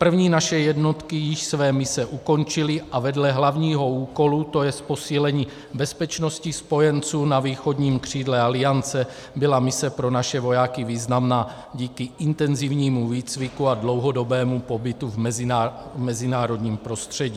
První naše jednotky již své mise ukončily a vedle hlavního úkolu, to jest posílení bezpečnosti spojenců na východním křídle Aliance, byla mise pro naše vojáky významná díky intenzivnímu výcviku a dlouhodobému pobytu v mezinárodním prostředí.